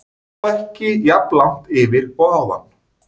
Þó ekki jafn langt yfir og áðan.